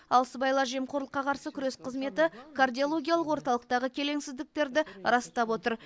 ал сыбайлас жемқорлыққа қарсы күрес қызметі кардиологиялық орталықтағы келеңсіздіктерді растап отыр